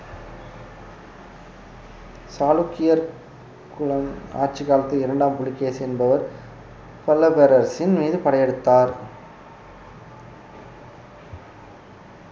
சாளுக்கியர் குலம் ஆட்சிக் காலத்தில் இரண்டாம் புலிகேசி என்பவர் பல்லவ பேரரசின் மீது படையெடுத்தார்